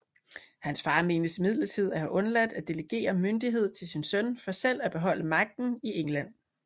Hans far menes imidlertid at have undladt at delegere myndighed til sin søn for selv at beholde magten i England